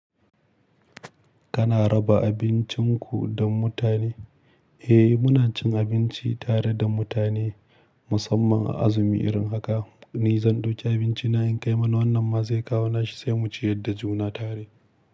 Kana raba abincinku da mutane? Eh, muna cin abinci tare da mutane, musamman a azumi irin haka. Ni zan ɗauki abinci na in kai mana, wannan masu kawo nashi, sai mu ciyar da juna tare.